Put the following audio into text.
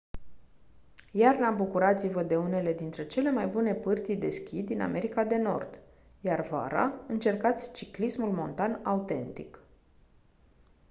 iarna bucurați-vă de unele dintre cele mai bune pârtii de schi din america de nord iar vara încercați ciclismul montan autentic